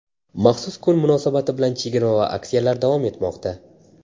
Maxsus kun munosabati bilan chegirma va aksiyalar davom etmoqda.